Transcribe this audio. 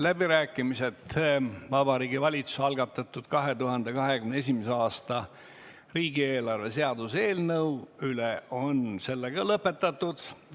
Läbirääkimised Vabariigi Valitsuse algatatud 2021. aasta riigieelarve seaduse eelnõu üle on sellega lõpetatud.